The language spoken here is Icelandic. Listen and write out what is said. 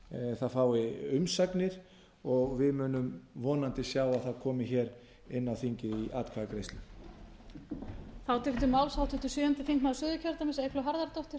það fái umsagnir og við munum vonandi sjá að það komi hér inn á þingið í atkvæðagreiðslu